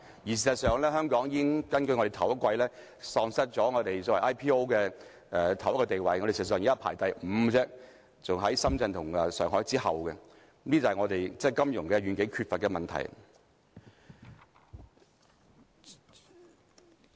事實上，根據首季數字，香港已喪失很多 IPO 的地位，我們現在排行第五，在深圳和上海之後，這就是我們對金融業缺乏遠景的問題。